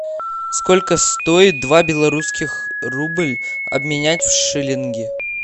сколько стоит два белорусских рубля обменять в шиллинги